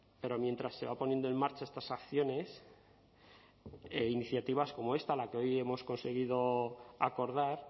pero mientras se van poniendo en marcha estas acciones e iniciativas como esta la que hoy hemos conseguido acordar